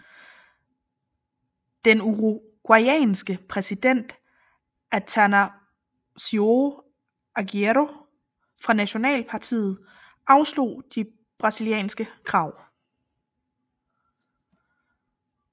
Den uruguayanske præsident Atanásio Aguirre fra nationalpartiet afslog de brasilianske krav